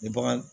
Ni bagan